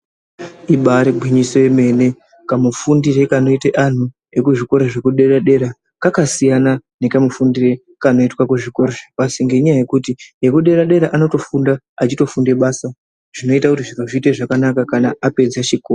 Ibari gwinyiso yemene kamufundire kanoite anhu ekuzvikora zvekudera dera kwakasiyana nekamufundire kanoitwa kuzvikora zvepashi nenyaya yekuti ekudera dera anotofunda achitofunda basa zvinoita kuti zviro zviite zvakanaka kana apedze chikora.